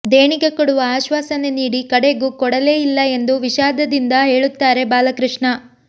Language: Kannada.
ದೇಣಿಗೆ ಕೊಡುವ ಆಶ್ವಾಸನೆ ನೀಡಿ ಕಡೆಗೂ ಕೊಡಲೇ ಇಲ್ಲ ಎಂದು ವಿಷಾದದಿಂದ ಹೇಳುತ್ತಾರೆ ಬಾಲಕೃಷ್ಣ